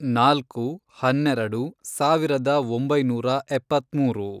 ನಾಲ್ಕು, ಹನ್ನೆರೆಡು, ಸಾವಿರದ ಒಂಬೈನೂರ ಎಪ್ಪತ್ಮೂರು